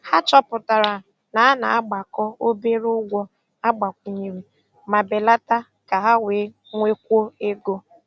Ha chọpụtara na a na-agbakọ obere ụgwọ agbakwunyere ma belata ka ha wee nwekwuo ego.